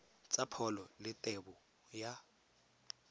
tsa pholo le tebo ya